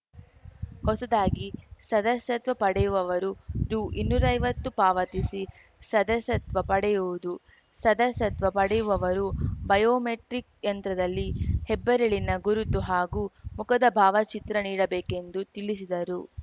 ಹೊಸದಾಗಿ ಸದಸ್ಯತ್ವ ಪಡೆಯುವವರು ರುಇನ್ನೂರೈವತ್ತು ಪಾವತಿಸಿ ಸದಸ್ಯತ್ವ ಪಡೆಯುವುದು ಸದಸ್ಯತ್ವ ಪಡೆಯುವವರು ಬಯೋಮೆಟ್ರಿಕ್‌ ಯಂತ್ರದಲ್ಲಿ ಹೆಬ್ಬೆರಳಿನ ಗುರುತು ಹಾಗೂ ಮುಖದ ಭಾವಚಿತ್ರ ನೀಡಬೇಕೆಂದು ತಿಳಿಸಿದರು